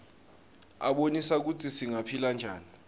abonisa kutsi singaphila njani